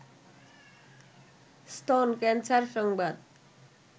স্তন ক্যানসার সংবাদ